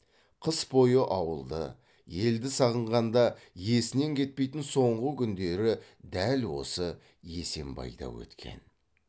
қыс бойы ауылды елді сағынғанда есінен кетпейтін соңғы күндері дәл осы есембайда өткен